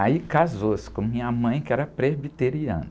Aí casou-se com minha mãe, que era presbiteriana.